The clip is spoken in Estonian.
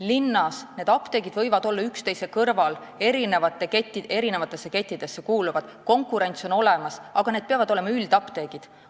Linnas võivad eri kettide apteegid olla üksteise kõrval, konkurents on olemas, aga need peavad olema üldapteegid.